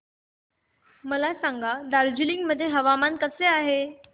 मला सांगा दार्जिलिंग मध्ये हवामान कसे आहे